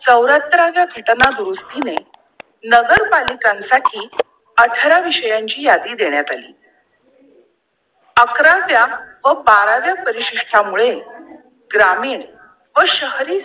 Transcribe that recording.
चौऱ्याहत्तराव्या घटना दुरुस्तीमुळे नगरपालिकांसाठी अठरा विषयांची यादी देण्यात आली. अकराव्या व बाराव्या परिसिष्ठा मुळे ग्रामीण व शहरी